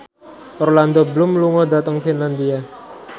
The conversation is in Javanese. Orlando Bloom lunga dhateng Finlandia